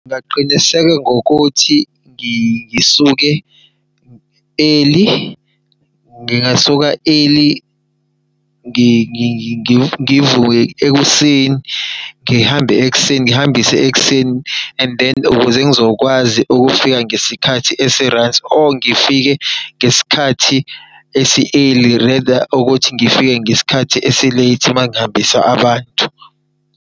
Ngingaqiniseka ngokuthi ngisuke early. Ngingasuka early, ngivuke ekuseni ngihambe ekuseni ngihambise ekuseni and then ukuze ngizokwazi ukufika ngesikhathi esi-right or ngifike ngesikhathi esi-early. Rather ukuthi ngifike ngesikhathi esi-right mangihambisa abantu.